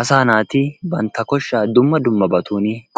Asaa naati bantta koshshaa dumma dummaban